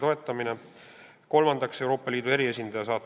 Kolmandaks, saata Valgevenesse Euroopa Liidu eriesindaja.